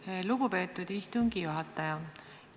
Tänan, lugupeetud istungi juhataja!